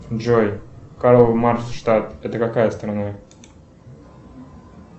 джой карл маркс штат это какая страна